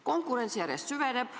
Konkurents järjest süveneb.